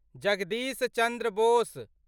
Jagdish Chandra Bose